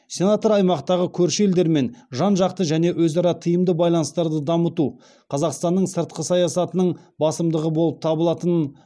сенатор аймақтағы көрші елдермен жан жақты және өзара тиімді байланыстарды дамыту қазақстанның сыртқы саясатының басымдығы болып табылатынын